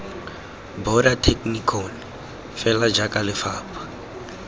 border technikon fela jaaka lefapha